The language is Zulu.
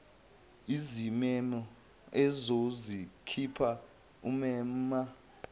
izimemo ozozikhipha umema